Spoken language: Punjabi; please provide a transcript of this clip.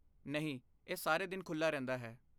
ਨਹੀਂ, ਇਹ ਸਾਰੇ ਦਿਨ ਖੁੱਲ੍ਹਾ ਰਹਿੰਦਾ ਹੈ।